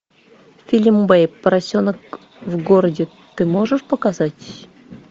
фильм бэйб поросенок в городе ты можешь показать